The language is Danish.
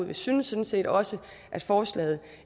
vi synes sådan set også at forslaget